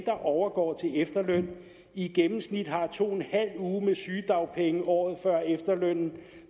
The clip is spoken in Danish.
der overgår til efterløn i gennemsnit har to en halv uger med sygedagpenge året før efterlønnen